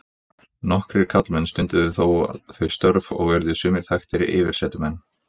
Nokkrir karlmenn stunduðu þó þau störf og urðu sumir þekktir yfirsetumenn.